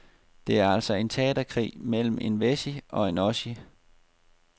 Det er altså en teaterkrig mellem en wessie og en ossie.